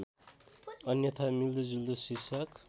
अन्यथा मिल्दोजुल्दो शीर्षक